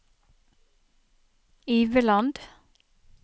Iveland